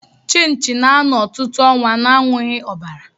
Chinchi na-ano ọtụtụ ọnwa na-anwughi ọbara.